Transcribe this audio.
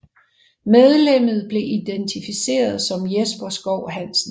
Medlemmet blev identificeret som Jesper Schou Hansen